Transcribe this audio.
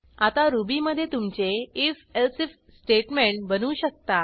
आता रुबीमधे तुमचे आयएफ एलसिफ स्टेटमेंट बनवू शकता